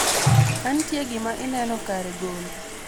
kantie gima ineno kare gole